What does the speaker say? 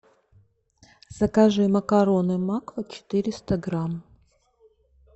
закажи макароны макфа четыреста грамм